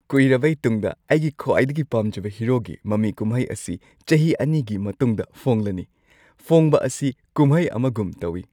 ꯀꯨꯏꯔꯕꯩ ꯇꯨꯡꯗ, ꯑꯩꯒꯤ ꯈ꯭ꯋꯥꯏꯗꯒꯤ ꯄꯥꯝꯖꯕ ꯍꯤꯔꯣꯒꯤ ꯃꯃꯤ ꯀꯨꯝꯍꯩ ꯑꯁꯤ ꯆꯍꯤ ꯲ꯒꯤ ꯃꯇꯨꯡꯗ ꯐꯣꯡꯂꯅꯤ, ꯐꯣꯡꯕ ꯑꯁꯤ ꯀꯨꯝꯍꯩ ꯑꯃꯒꯨꯝ ꯇꯧꯏ꯫